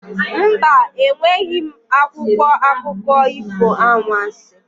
Mba, enweghị m akwụkwọ akụkọ ifo anwansi.